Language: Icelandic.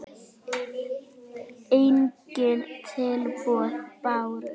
Engin tilboð bárust.